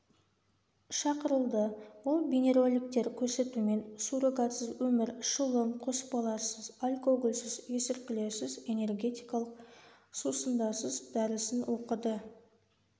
шықырылды ол бейнероликтер көрсетумен суррогатсыз өмір шылым қоспаларсыз алкогольсіз есірткілерсіз энергетикалық сусындарсыз дәрісін оқыды слт